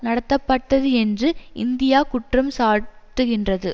நடத்தப்பட்டது என்று இந்தியா குற்றம் சாட்டுகின்றது